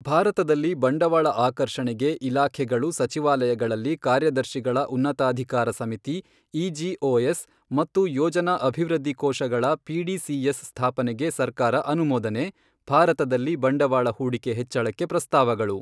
ಭಾರತದಲ್ಲಿ ಬಂಡವಾಳ ಆಕರ್ಷಣೆಗೆ ಇಲಾಖೆಗಳು ಸಚಿವಾಲಯಗಳಲ್ಲಿ ಕಾರ್ಯದರ್ಶಿಗಳ ಉನ್ನತಾಧಿಕಾರ ಸಮಿತಿ ಇಜಿಒಎಸ್ ಮತ್ತು ಯೋಜನಾ ಅಭಿವೃದ್ಧಿ ಕೋಶಗಳ ಪಿಡಿಸಿಎಸ್ ಸ್ಥಾಪನೆಗೆ ಸರ್ಕಾರ ಅನುಮೋದನೆ, ಭಾರತದಲ್ಲಿ ಬಂಡವಾಳ ಹೂಡಿಕೆ ಹೆಚ್ಚಳಕ್ಕೆ ಪ್ರಸ್ತಾವಗಳು